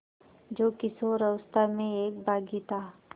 जो किशोरावस्था में एक बाग़ी था